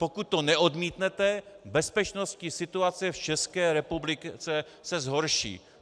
Pokud to neodmítnete, bezpečnostní situace v České republice se zhorší.